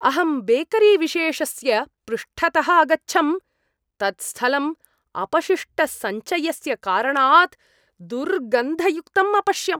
अहं बेकरीविशेषस्य पृष्ठतः अगच्छम्, तत् स्थलं अपशिष्टसञ्चयस्य कारणात् दुर्गन्धयुक्तं अपश्यम्।